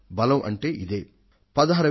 బలం అంటే ఇదే